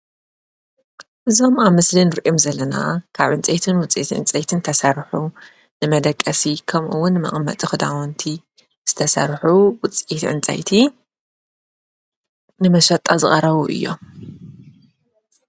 እዞም ኣብ ምስልን ኣንርኦም ዘለና ካዕ ንፀይትን ውፀት ዕንጸይትን ተሠርሑ ንመደቀሲ ከምኡውን መቕመጥ ኽዳወንቲ ዝተሠርኁ ውፅአት ዕንጸይቲ ንመሸጣ ዝቐረዉ እዮም።